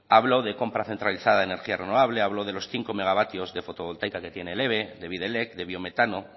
habló de compra centralizada de energía renovable habló de los cinco megavatios de fotovoltaica que tiene el eve de bidelek de biometano